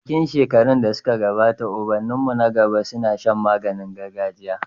A cikin shekarun da suka gabata ubanninmu na gaba suna shan magani gargajia.